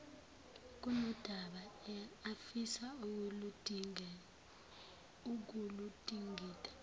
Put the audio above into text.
kunodaba afisa ukuludingida